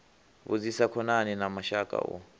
vhudzise khonani na mashaka u